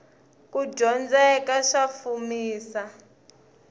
kudyondzeka sa fumisa